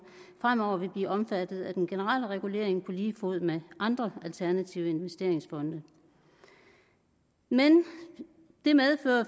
fremover vil blive omfattet af den generelle regulering på lige fod med andre alternative investeringsfonde men det medfører